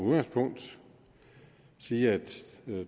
med at sige at